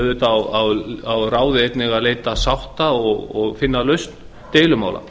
auðvitað á ráðið einnig að leita sátta og finna lausn deilumála